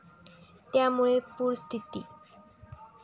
त्यामुळे पूरस्थिती.